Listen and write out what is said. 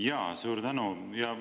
Jaa, suur tänu!